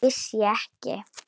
Vissi ég ekki!